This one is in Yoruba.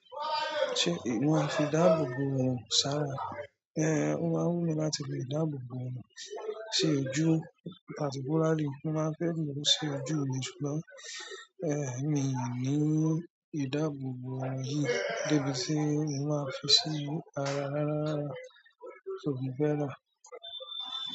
Ṣé ìwọ máa fi ìdáàbòbò hàn sára? Ẹ̀, mo máa wù mí láti fi ìdáàbòbò sí ojú particularly mo máa ń fẹ́ lò ó sí ojú mi jùlọ. Ẹ̀, mi ì ni ìdáàbòbò yìí débi tí mo máa fi sí ara rárá rárá, só mi fẹ́ rà á.